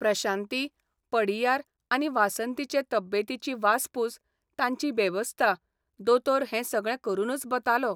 प्रशांती, पडियार आनी वासंतीचे तब्येतीची वासपूस, तांची बेवस्था, दोतोर हैं सगळं करूनच बतालो.